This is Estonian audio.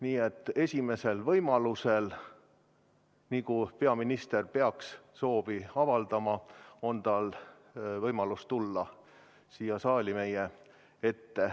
Nii et esimesel võimalusel, nii kui peaminister peaks soovi avaldama, on tal võimalus tulla siia saali meie ette.